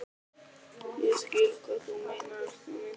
Ég skil hvað þú meinar, elskan mín.